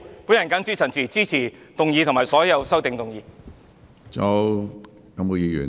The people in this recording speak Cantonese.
我謹此陳辭，支持議案及所有修正案。